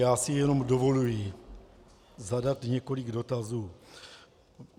Já si jenom dovoluji zadat několik dotazů.